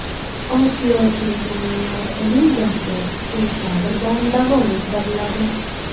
Osiyo Chempionlar Ligasi sentabrdan davom ettiriladi.